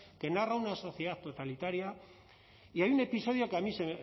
que narra una sociedad totalitaria y hay un episodio que a mí se